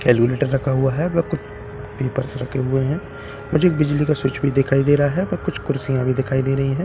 रखा हुआ है ‌ रखें हुए हैं मुझे बिजली का स्वीच भी दिखाई दे रहा है और कुछ कुर्सियां भी दिखाई दे रही है।